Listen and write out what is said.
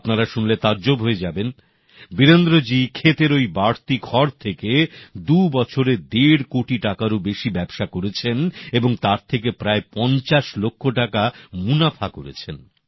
আপনারা শুনলে তাজ্জব হয়ে যাবেন বীরেন্দ্রজী ক্ষেতের ঐ বাড়তি খড় থেকে দু বছরে দেড় কোটি টাকারও বেশি ব্যবসা করেছেন এবং তার থেকে প্রায় পঞ্চাশ লক্ষ টাকা মুনাফা করেছেন